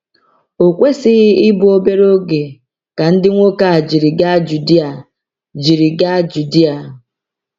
O kwesịghị ịbụ obere oge ka ndị nwoke a jiri gaa Judea. jiri gaa Judea.